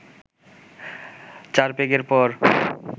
চার পেগের পর